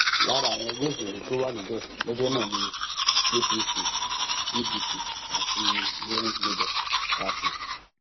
lára àwọn ẹgbẹ òṣèlú tó wà níbẹ lọjọ náà ni apc pdp àti zenith labour party